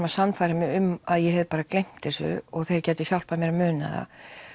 að sannfæra mig um að ég hafði bara gleymt þessu og þeir gætu hjálpað mér að muna það